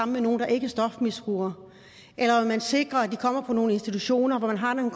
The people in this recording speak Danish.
med nogen der ikke er stofmisbrugere eller om at sikre at de kommer på nogle institutioner hvor man har